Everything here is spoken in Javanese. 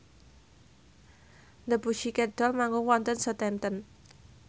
The Pussycat Dolls manggung wonten Southampton